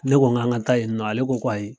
Ne ko k'an ka taa yen nɔ ale ko k'o ayi